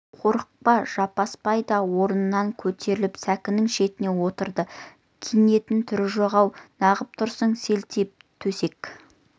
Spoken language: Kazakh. қорықпа жаппасбай да орнынан көтеріліп сәкінің шетіне отырды киінетін түрі жоқ ау неғып тұрсың селтиіп төсек